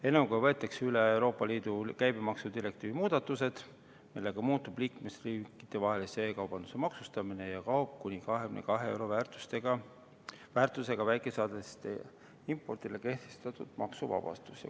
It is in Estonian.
Eelnõuga võetakse üle Euroopa Liidu käibemaksudirektiivi muudatused, millega muutub liikmesriikidevahelise e-kaubanduse maksustamine ja kaob kuni 22 euro väärtusega väikesaadetiste impordile kehtestatud maksuvabastus.